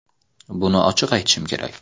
Buni ochiq aytishim kerak.